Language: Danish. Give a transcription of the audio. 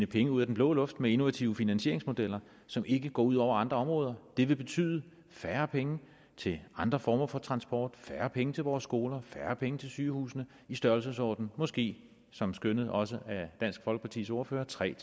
penge ud af den blå luft med innovative finansieringsmodeller som ikke går ud over andre områder det vil betyde færre penge til andre former for transport færre penge til vores skoler færre penge til sygehusene i størrelsesordenen måske som skønnet også af dansk folkepartis ordfører tre